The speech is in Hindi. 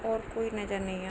और कोई नजर नहीं आए--